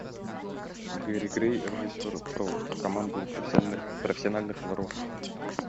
гэри грей режиссер про команду профессиональных воров